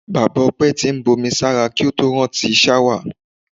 Bàbá O̩pé̩ ti ń bomí sára kí ó tó rántí s̩áwà.